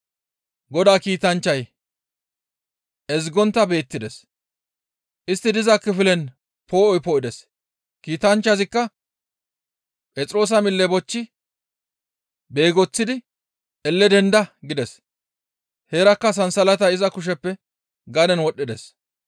Godaa kiitanchchay ezgontta beettides; istti diza kifilen poo7oy poo7ides; kiitanchchazikka Phexroosa mille bochchi beegoththidi, «Elle denda!» gides; heerakka sansalatay iza kusheppe gaden wodhdhides.